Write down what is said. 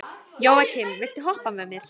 Jóakim, viltu hoppa með mér?